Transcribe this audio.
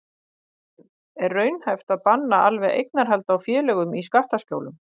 En er raunhæft að banna alveg eignarhald á félögum í skattaskjólum?